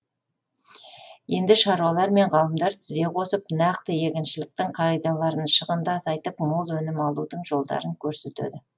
енді шаруалар мен ғалымдар тізе қосып нақты егіншіліктің қағидаларын шығынды азайтып мол өнім алудың жолдарын көрсетеді